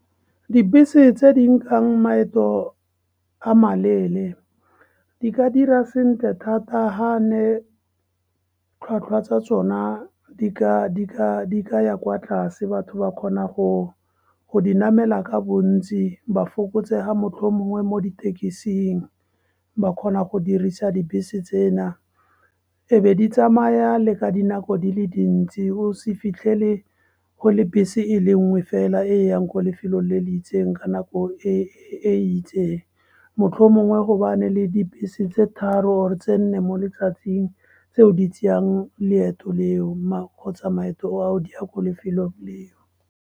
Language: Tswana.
Dibese tse di nkang maeto a maleele di ka dira sentle thata ha ne tlhwatlhwa tsa tsona di ka ya kwa tlase. Batho ba kgona go di namela ka bontsi, ba fokotsega mohlomongwe mo ditekising. Ba kgona go dirisa dibese tsena. Ebe di tsamaya le ka dinako di le dintsi, o se fitlhele go le bese e le nngwe fela e e yang ko lefelo le le itseng ka nako e e itseng. Mohlomongwe go bane le dibese tse tharo or-e tse nne mo letsatsing tseo di tseyang leeto le o kgotsa maeto a o di ya lefelo leo.